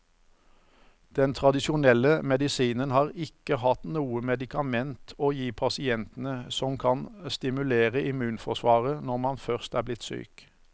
Den tradisjonelle medisinen har ikke hatt noe medikament å gi pasientene som kan stimulere immunforsvaret når man først er blitt syk.